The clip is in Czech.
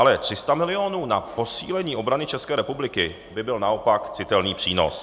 Ale 300 milionů na posílení obrany České republiky by byl naopak citelný přínos.